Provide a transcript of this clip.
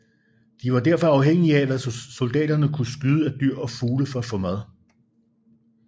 De var derfor afhængige af hvad soldaterne kunne skyde af dyr og fugle for at få mad